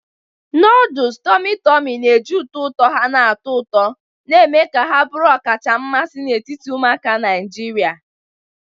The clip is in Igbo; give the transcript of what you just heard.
Noodles tummy tummy na-eji ụtọ ụtọ ha na-atọ ụtọ, na-eme ka ha bụrụ ọkacha mmasị n'etiti ụmụaka Naijiria.